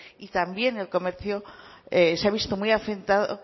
y también el comercio se ha visto muy afectado